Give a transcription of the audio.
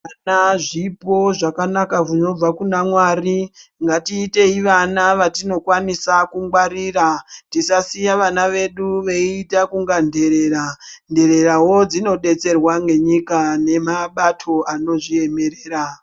Vana zvipo zvakanaka zvinobva Kuna mwari ngatiitei vana vatinokwanisa kungwarira tisasiya vana vedu veita kunge nherera ndererayo dzinodetserwa ngenyika nemabato akazviemera.